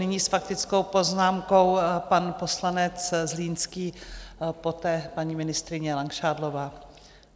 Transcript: Nyní s faktickou poznámkou pan poslanec Zlínský, poté paní ministryně Langšádlová.